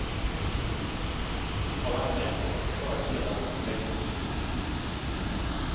Av hans hem återstod bara delar av ytterväggarna.